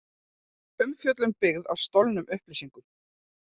Umfjöllun byggð á stolnum upplýsingum